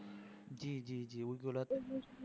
জি জি জি